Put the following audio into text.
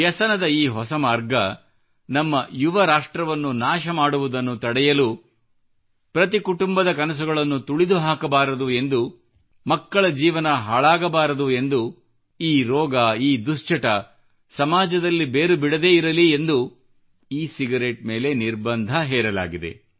ವ್ಯಸನದ ಈ ಹೊಸ ಮಾರ್ಗ ನಮ್ಮ ಯುವ ರಾಷ್ಟ್ರವನ್ನು ನಾಶ ಮಾಡುವುದನ್ನು ತಡೆಯಲು ಪ್ರತಿ ಕುಟುಂಬದ ಕನಸುಗಳನ್ನು ತುಳಿದುಹಾಕಬಾರದು ಎಂದು ಮಕ್ಕಳ ಜೀವನ ಹಾಳಾಗಬಾರದೆಂದು ಈ ರೋಗ ಈ ದುಶ್ಚಟ ಸಮಾಜದಲ್ಲಿ ಬೇರು ಬಿಡದಿರಲಿ ಎಂದು ಇ ಸಿಗರೇಟ್ ಮೇಲೆ ನಿರ್ಭಂಧ ಹೇರಲಾಗಿದೆ